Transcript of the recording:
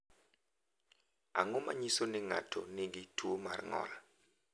Ang’o ma nyiso ni ng’ato nigi tuwo mar ng’ol?